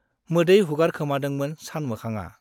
मोदै हुगारखोमादोंमोन सानमोखांआ।